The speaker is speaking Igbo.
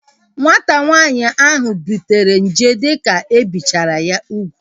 Nwata nwaanyị ahu butere nje dike ebichara ya ugwu